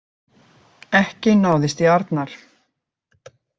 Ekki náðist í Arnar